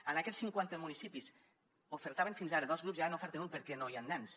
en aquests cinquanta municipis ofertaven fins ara dos grups i ara n’oferten un perquè no hi han nens